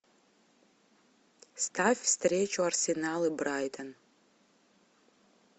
ставь встречу арсенал и брайтон